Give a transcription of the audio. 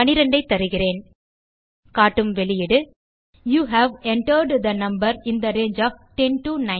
12 ஐ தருகிறேன் காட்டும் வெளியீடு you have entered the number in the range of 10 to 19